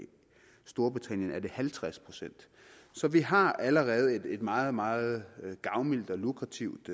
storbritannien er det kun halvtreds procent så vi har allerede et meget meget gavmildt og lukrativt